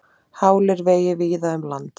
Hálir vegir víða um land